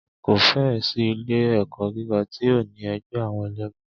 Kò fẹ́ ẹ̀ sí ilé ẹ̀kọ́ gíga tí ò ní ẹgbẹ́ àwọn ẹlẹmu.